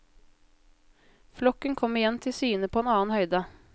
Flokken kom igjen til syne på en annen høyde.